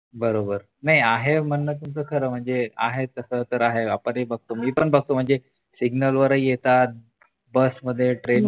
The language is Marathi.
बरोबर नाही आहे म्हणनं तुमच खरं म्हणजे आहे तस तर आहे आपण ही बघतो मी पण बघतो म्हणजे सिग्नल वरही येतात बसमधे ट्रेन मधे